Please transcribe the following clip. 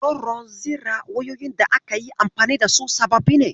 Kororon zira wayoyin da aka yi anfani da su sababbi ne?